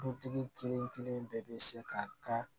Dutigi kelenkelen bɛɛ bɛ se ka